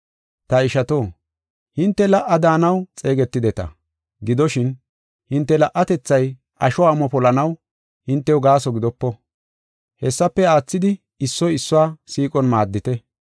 Ta ishato, hinte la77a daanaw xeegetideta. Gidoshin, hinte la77atethay asho amo polanaw hintew gaaso gidopo; hessafe aathidi issoy issuwa siiqon maaddite.